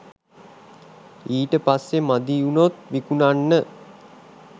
ඊට පස්සෙ මදි වුණොත් විකුණන්න